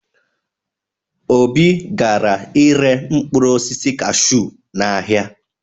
Obi gara ire mkpụrụ osisi kashuu n'ahịa.